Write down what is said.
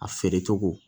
A feere cogo